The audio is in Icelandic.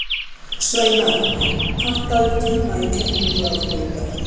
Sveinar, pantaðu tíma í klippingu á þriðjudaginn.